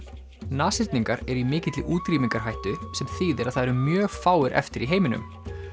nashyrningar eru í mikilli útrýmingarhættu sem þýðir að það eru mjög fáir eftir í heiminum